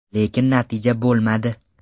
Lekin natija bo‘lmadi.